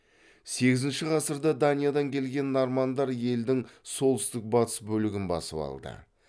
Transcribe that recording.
сегізінші ғасырда даниядан келген нормандар елдің солтүстік батыс бөлігін басып алды